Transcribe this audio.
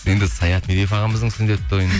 енді саят медеуов ағамыздың сүндет тойын